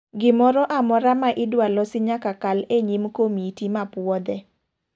Gimoro amora ma idwa losi nyaka kal e nyim komiti ma puodhe.